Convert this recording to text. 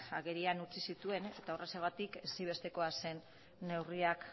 agerian utzi zituen eta horregatik ezinbestekoa zen neurriak